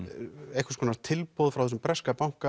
einhvers konar tilboð frá þessum breska banka